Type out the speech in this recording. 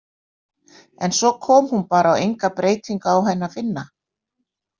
En svo kom hún bara og enga breytingu á henni að finna.